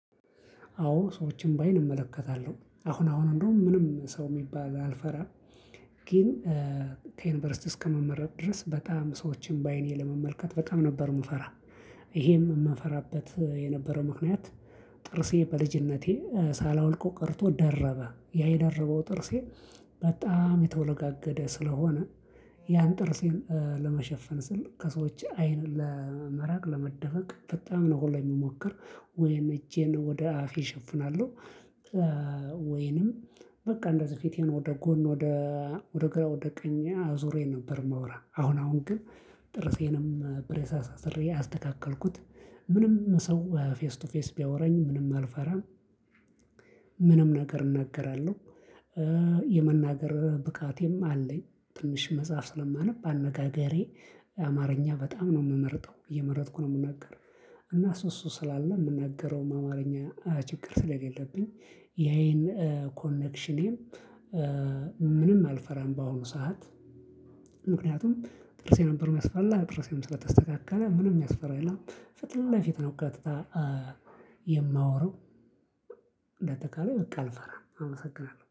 አዎ ሰዎችን በአይን እመለከታለሁ አሁን አሁን እንደውም ምንም ሰው የሚባል አልፈራም። ግን ከዩኒቨርሲቲ እስከመመረቅ ድረስ በጣም ሰዎችን በአይኔ ለመመልከት በጣም ነበር የምፈራ። ይሄም የምፈራበት የነበረው ምክንያት ጥርሴ በልጅነቴ ሳላወልቀው ቀርቶ ደረበ ያ የደረበው ጥርሴ በጣም የተወለጋገደ ስለሆነ። ያን ጥርሴን ለመሸፈን ስል ከሰዎች አይን ለመራቅ ለመደበቅ በጣም ነው ሁላ የምሞክር ወይም እጄን ወደ አፌ እሸፍናለሁ። ወይንም በቃ እንደዚህ ፊቴን ወደ ጎን ወደ ወደ ግራ ወደ ቀኝ አዙሬ ነበር ማወራ አሁን አሁን ግን ጥርሴንም ብሬስ አሳስሬ አስተካከልኩት። ምንም ሰው ፌስ ቱ ፌስ ቢያወራኝ ምንም አልፈራም። ምንም ነገር እናገራለሁ። የመናገር ብቃቴም አለኝ ትንሽ መጽሐፍ ስለማነብ አነጋገሬ አማርኛ በጣም ነው የምመርጠው እየመረጥኩ ነው የምናገረው። እና እሱ እሱ ስላለ የምናገረው አማርኛ ችግር ስለሌለብኝ። የአይን ኮኔክሽኔም ምንም አልፈራም በአሁኑ ሰዓት። ምክንያቱም ጥርሴ ነበር የሚያስጠላ ጥርሴን ስለተስተካከለ ምንም የሚያስፈራ የለም። ፊት ለፊት ነው ቀጥታ የማወራው። እንዳጠቃላይ በቃ አልፈራም አመሰግናለሁ